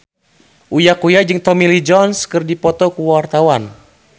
Uya Kuya jeung Tommy Lee Jones keur dipoto ku wartawan